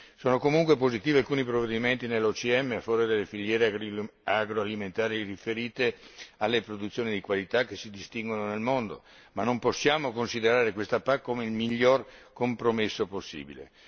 Sono comunque positivi alcuni provvedimenti nell'OCM a favore delle filiere agroalimentari riferite alle produzioni di qualità che si distinguono nel mondo ma non possiamo considerare questa PAC come il miglior compromesso possibile.